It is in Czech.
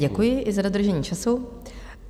Děkuji, i za dodržení času.